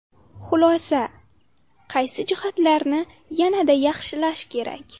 Xulosa: Qaysi jihatlarni yanada yaxshilash kerak?